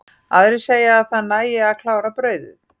Aðrir segja að það nægi að klára brauðið.